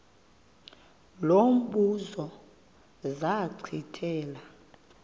lo mbuzo zachithela